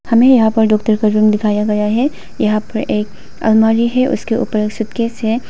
हमें यहां पर डॉक्टर का रुम दिखाया गया है यहां पर एक अलमारी है उसके ऊपर सूटकेस है।